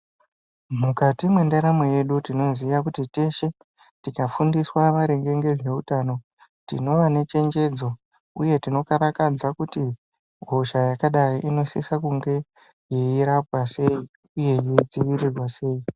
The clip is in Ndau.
Mukati mwendaramo yedu tineziya kuti teshe tikafundiswa maringe ngezveutano tinova nechenjedzo uye tinokarakadza kuti hosha yakadai inosisa kunge eyirapwa sei uye yeidziirirwa sei.